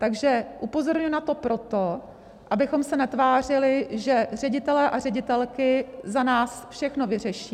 Takže upozorňuji na to proto, abychom se netvářili, že ředitelé a ředitelky za nás všechno vyřeší.